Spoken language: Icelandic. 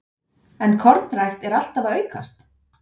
En kornrækt er alltaf að aukast?